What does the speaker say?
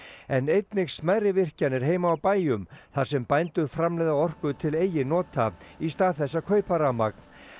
en einnig smærri virkjanir heima á bæjum þar sem bændur framleiða orku til eigin nota í stað þess að kaupa rafmagn